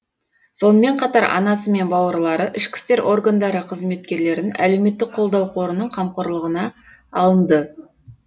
сонымен қатар анасы мен бауырлары ішкі істер органдары қызметкерлерін әлеуметтік қолдау қорының қамқорлығына алынды